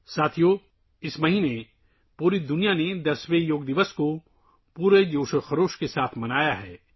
دوستو، اس مہینے پوری دنیا نے یوگا کا 10 واں عالمی دن بڑے جوش و خروش کے ساتھ منایا ہے